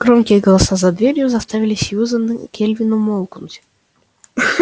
громкие голоса за дверью заставили сьюзен кэлвин умолкнуть